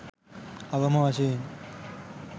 අවම වශයෙන්